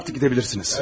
Artıq gedə bilirsiniz.